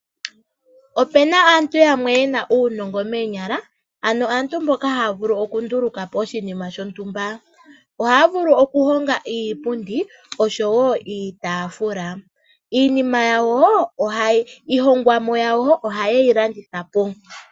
Opena aantu yamwe ye na uunongo moonyala, ano aantu mboka ha ya vulu oku ndulukapo oshinima shontumba. Oha ya vulu oku honga iipundi osho wo iitafula. Iihongomwa yawo oha ye yi landithapo.